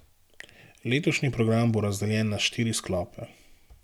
Letošnji program bo razdeljen na štiri sklope.